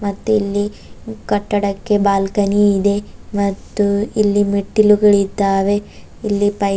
ಮತ್ತ್ ಇಲ್ಲಿ ಕಟ್ಟಡಕ್ಕೆ ಬಾಲ್ಕನಿ ಇದೆ ಮತ್ತು ಇಲ್ಲಿ ಮೆಟ್ಟಿಲುಗಳಿದ್ದಾವೆ ಇಲ್ಲಿ ಪೈ--